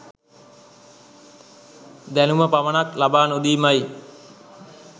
දැනුම පමණක් ලබා නොදීමයි.